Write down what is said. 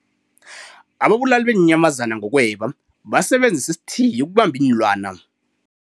Ababulali beenyamazana ngokweba basebenzise isithiyo ukubamba iinlwana.